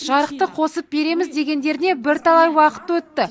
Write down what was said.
жарықты қосып береміз дегендеріне бірталай уақыт өтті